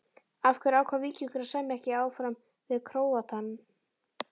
Af hverju ákvað Víkingur að semja ekki áfram við Króatann?